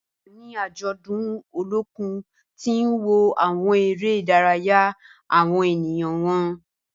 Mo wa ni ajọdun Olokun ti n wo awọn ere-idaraya awọn eniyan wọn.